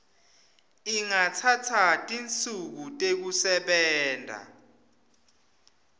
ingatsatsa tinsuku tekusebenta